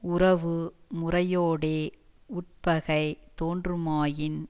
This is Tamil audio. உறவு முறையோடே வுட்பகை தோன்றுமாயின்